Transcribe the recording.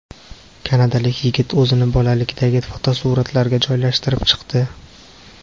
Kanadalik yigit o‘zini bolalikdagi fotosuratlariga joylashtirib chiqdi .